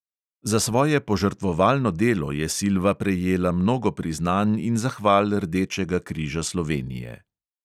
Za svoje požrtvovalno delo je silva prejela mnogo priznanj in zahval rdečega križa slovenije.